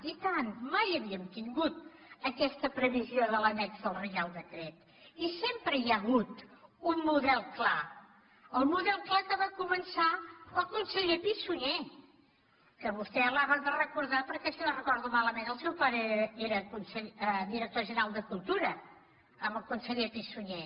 i tant mai havíem tingut aquesta previsió de l’annex del reial decret i sempre hi ha hagut un model clar el model clar que va començar el conseller pi i sunyer que vostè l’ha de recordar perquè si no ho recordo malament el seu pare era director general de cultura amb el conseller pi i sunyer